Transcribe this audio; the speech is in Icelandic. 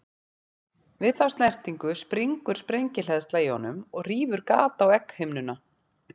Við þá snertingu springur sprengihleðsla í honum og rýfur gat á egghimnuna.